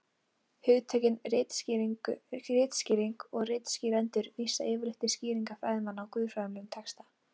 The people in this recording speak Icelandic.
hugtökin ritskýring og ritskýrendur vísa yfirleitt til skýringa fræðimanna á guðfræðilegum texta